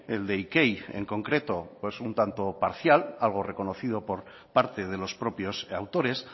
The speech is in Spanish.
el de ikei en concreto pues un tanto parcial algo reconocido por parte de los propios autores